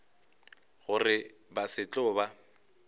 gore ba se tlo ba